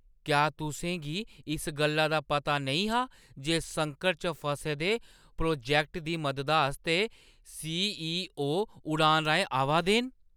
क्या तुसें गी इस गल्ला दा पता नेईं हा जे संकट च फसे दे प्रोजैक्ट दी मददा आस्तै सी.ई.ओ. उड़ान राहें आवा दे न?